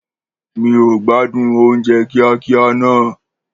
Mi ò gbádùn oúnjẹ kíákíá náà